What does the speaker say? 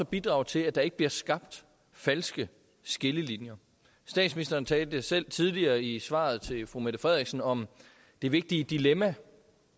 bidrage til at der ikke bliver skabt falske skillelinjer statsministeren talte selv tidligere i svaret til fru mette frederiksen om det vigtige dilemma